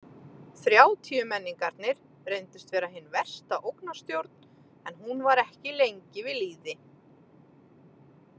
Þrjátíumenningarnir reyndust vera hin versta ógnarstjórn en hún var ekki lengi við lýði.